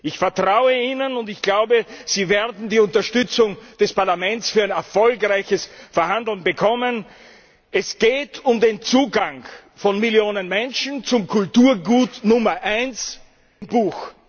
Ich vertraue Ihnen, und ich glaube, Sie werden die Unterstützung des Parlaments für ein erfolgreiches Verhandeln bekommen. Es geht um den Zugang von Millionen Menschen zum Kulturgut Nummer eins, dem Buch!